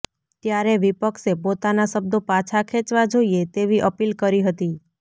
ત્યારે વિપક્ષે પોતાના શબ્દો પાછા ખેંચવા જોઈએ તેવી અપીલ કરી હતી